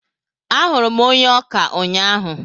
Ahụrụ m onye ọkà ụnyaahụ.